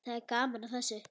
Það er gaman að þessu.